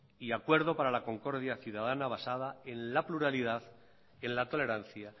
y acuerdo para la concordia ciudadana basada en la pluralidad en la tolerancia